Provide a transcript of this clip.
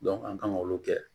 an kan k'olu kɛ